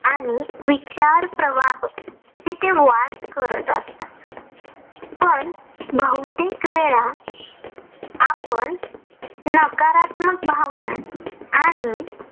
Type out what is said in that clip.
आणि विचार प्रवाह तिथे वास करत असतात. पण बहुतेक वेळा आपण नकारात्मक भावना आणि